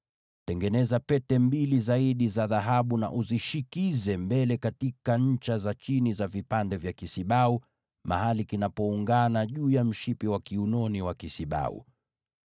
Tengeneza pete nyingine mbili za dhahabu, na uzishikamanishe sehemu ya chini ya vipande vya mabega upande wa mbele wa kile kisibau, karibu na pindo juu kidogo ya mshipi wa kiunoni wa kisibau.